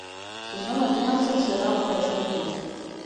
сезон одиннадцать сериала большой куш